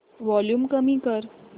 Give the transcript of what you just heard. volume कमी कर